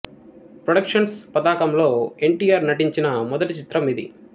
productions పతాకంలో N T R నటించిన మొదటిచిత్రం ఇది